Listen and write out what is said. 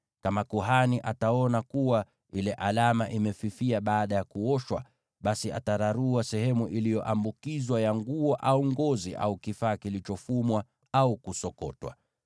Kama kuhani ataona kuwa ile alama imefifia baada ya kuoshwa, basi atararua sehemu iliyo ambukizwa ya nguo au ngozi au kifaa kilichofumwa au kusokotwa.